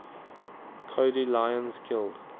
cody lyons killed